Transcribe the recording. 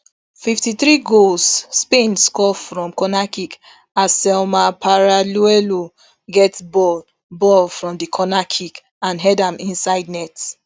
fifty-three goalspain score from cornerkick as salma paralluelo get ball ball from di corner kick and head am inside net